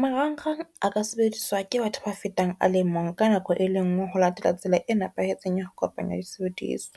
Marangrang a ka sebediswa ke batho ba fetang a le mong, ka nako e lengwe ho latela tsela e nepahetseng ya ho kopanya disebediswa.